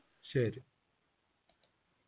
ശരി